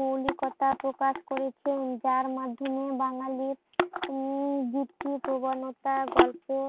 মৌলিকতা প্রকাশ করেছেন যার মাধ্যমে বাঙালির উম যুক্তি প্রবণতা গল্পে